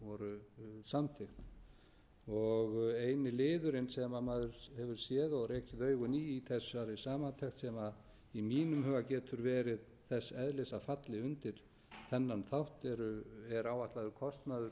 voru samþykkt eini liðurinn sem maður hefur séð og rekið augun í í þessari samantekt sem í mínum huga getur verið þess eðlis að falli undir þennan þátt er áætlaður kostnaður